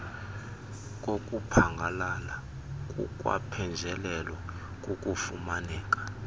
kokuphangalala kukwaphenjelelwa kukufumaneka